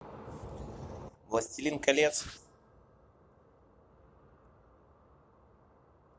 властелин колец